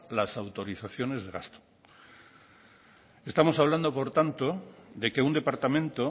las autorizaciones de gasto estamos hablando por tanto de que un departamento